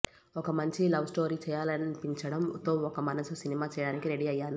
ఒక మంచి లవ్స్టోరీ చేయడాలనిపించడం తో ఒక మనసు సినిమా చేయడానికి రెడీ అయ్యాను